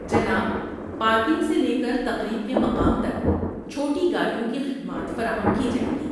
جناب، پارکنگ سے لے کر تقریب کے مقام تک، چھوٹی گاڑیوں کی خدمات فراہم کی جائیں گی۔